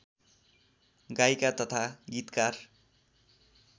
गायिका तथा गीतकार